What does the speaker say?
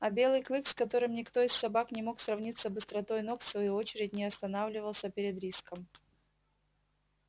а белый клык с которым никто из собак не мог сравниться быстротой ног в свою очередь не останавливался перед риском